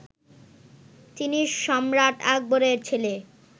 তিনি সম্রাট আকবরের ছেলে